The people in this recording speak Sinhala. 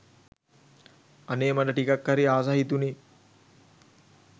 අනේ මට ටිකක් හරි ආස හිතුනෙ